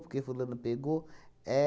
Por que fulano pegou?